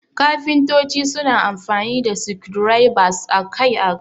Kafintoci suna amfani da screwdrivers akai-akai.